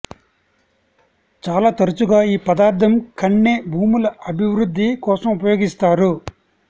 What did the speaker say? చాలా తరచుగా ఈ పదార్థం కన్నె భూముల అభివృద్ధి కోసం ఉపయోగిస్తారు